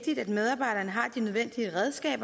skal